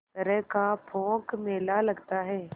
तरह का पोंख मेला लगता है